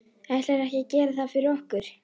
Ætlarðu ekkert að gera það fyrir okkur?